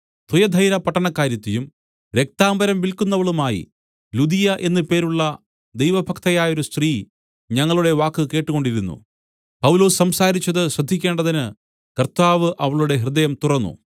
തുയഥൈരാ പട്ടണക്കാരത്തിയും രക്താംബരം വില്ക്കുന്നവളുമായി ലുദിയ എന്ന് പേരുള്ള ദൈവ ഭക്തയായൊരു സ്ത്രീ ഞങ്ങളുടെ വാക്ക് കേട്ടുകൊണ്ടിരുന്നു പൗലൊസ് സംസാരിച്ചത് ശ്രദ്ധിക്കേണ്ടതിന് കർത്താവ് അവളുടെ ഹൃദയം തുറന്നു